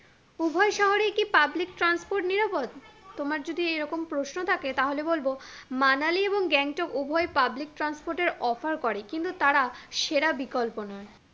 উভয় শহরেই কি public transport নিরাপদ? তোমার যদি এরকম প্রশ্ন থাকে তাহলে বলবো, মানালি এবং গ্যাংটক উভয়ই public transport এর offer করে কিন্তু তারা সেরা বিকল্প নয়